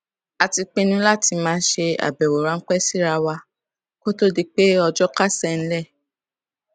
a ti pinnu láti máa ṣe àbẹwò ránpẹ síra wa kó tó di pé ọjọ kásẹ nílẹ